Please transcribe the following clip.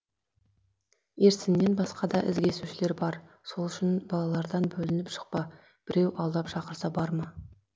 ерсіннен басқа да із кесушілер бар сол үшін балалардан бөлініп шықпа біреу алдап шақырса барма